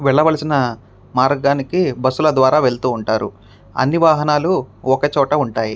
వెళ్లవలిసిన మార్గానికి బస్సు ల ద్వారా వెళ్తారు. అన్ని వాహనాలు ఒకే చోటున ఉంటాయి.